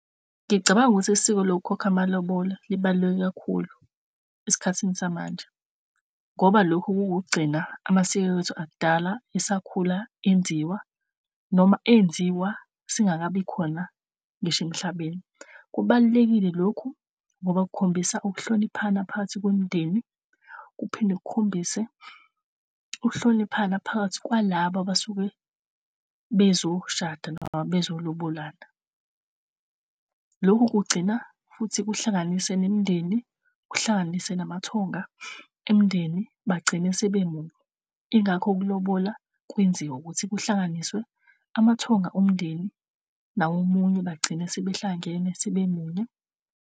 Ngicabanga ukuthi isiko lokukhokha amalobola libaluleke kakhulu esikhathini samanje, ngoba lokhu kukugcina amasiko ethu akudala esakhula enziwa noma enziwa singakabikhona ngisho emhlabeni. Kubalulekile lokhu ngoba kukhombisa ukuhloniphana phakathi kwemindeni, kuphinde kukhombise uhloniphani phakathi kwalaba basuke bezoshada noma bezolobolana. Lokhu kugcina futhi kuhlanganise nemindeni, kuhlanganise namathongo emndeni bagcine sebe munye. Ingakho ukulobola kwenziwa ukuthi kuhlanganiswe amathonga omndeni nawo munye bagcine sebehlangene sebe munye.